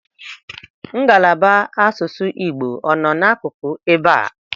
Ngalaba asụsụ Igbo ọ nọ n'akụkụ ebe a?